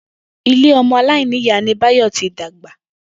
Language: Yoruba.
Ilé o̩mo̩ aláìníyàá ni Báyò̩ ti dàgbà